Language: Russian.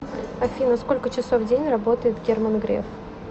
афина сколько часов в день работает герман греф